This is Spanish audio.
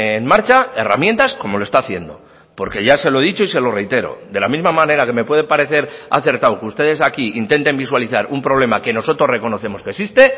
en marcha herramientas como lo está haciendo porque ya se lo he dicho y se lo reitero de la misma manera que me puede parecer acertado que ustedes aquí intenten visualizar un problema que nosotros reconocemos que existe